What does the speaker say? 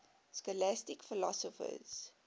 scholastic philosophers